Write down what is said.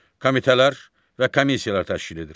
Komitələr və komissiyalar təşkil edir.